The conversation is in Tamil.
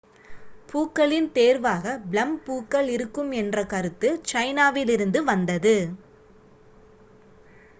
பூக்களின் தேர்வாக ப்ளம் பூக்கள் இருக்கும் என்ற கருத்து சைனாவிலிருந்து வந்தது